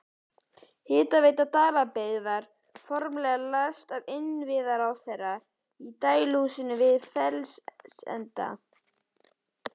Hitaveita Dalabyggðar formlega ræst af iðnaðarráðherra í dæluhúsinu við Fellsenda.